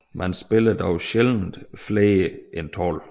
Man spiller dog sjældent flere end 12